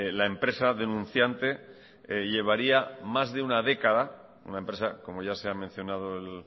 la empresa denunciante llevaría más de una década una empresa como ya se ha mencionado el